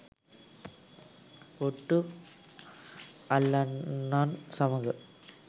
ඔට්ටු අල්ලන්නන් සමඟ